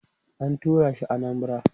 an turashi Anambara